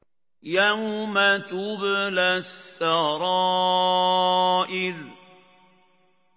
يَوْمَ تُبْلَى السَّرَائِرُ